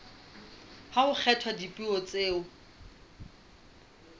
ha ho kgethwa dipuo tseo